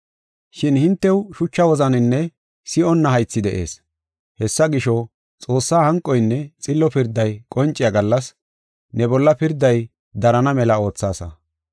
Shin hintew shucha wozaninne si7onna haythi de7ees. Hessa gisho, Xoossaa hanqoynne xillo pirday qonciya gallas, ne bolla pirday darana mela oothaasa.